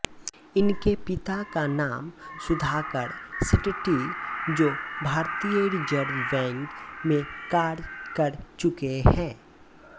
इनके पिता का नाम सुधाकर शेट्टी जो भारतीय रिज़र्व बैंक में कार्य कर चूके है